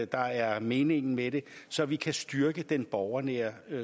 der er meningen med det så vi kan styrke den borgernære